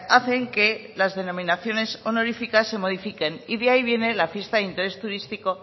hacen que las denominaciones honoríficas se modifiquen y de ahí viene la fiesta de interés turístico